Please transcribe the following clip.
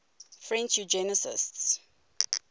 french eugenicists